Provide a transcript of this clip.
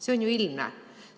See on ju ilmne.